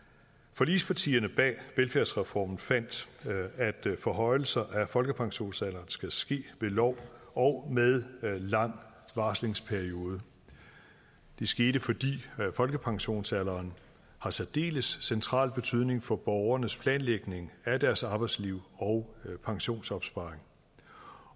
forligspartierne bag velfærdsreformen fandt at forhøjelser af folkepensionsalderen skal ske ved lov og med en lang varslingsperiode det skete fordi folkepensionsalderen har særdeles central betydning for borgernes planlægning af deres arbejdsliv og pensionsopsparing